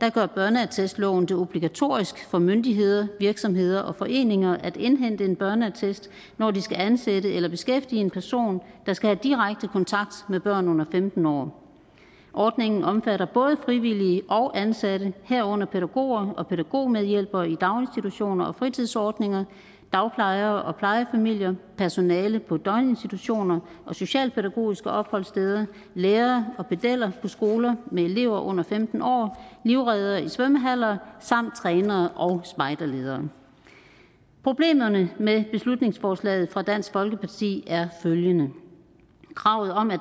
dag gør børneattestloven det obligatorisk for myndigheder virksomheder og foreninger at indhente en børneattest når de skal ansætte eller beskæftige en person der skal have direkte kontakt med børn under femten år ordningen omfatter både frivillige og ansatte herunder pædagoger og pædagogmedhjælpere i daginstitutioner og fritidsordninger dagplejere plejefamilier personale på døgninstitutioner og socialpædagogiske opholdssteder lærere og pedeller på skoler med elever under femten år livreddere i svømmehaller trænere og spejderledere problemerne med beslutningsforslaget fra dansk folkeparti er følgende kravet om at